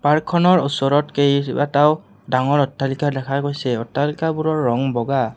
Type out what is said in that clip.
Park খনৰ ওচৰত কেইবাটাও ডাঙৰ অট্টালিকা দেখা গৈছে অট্টালিকাবোৰৰ ৰঙ বগা।